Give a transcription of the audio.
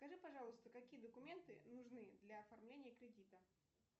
скажи пожалуйста какие документы нужны для оформления кредита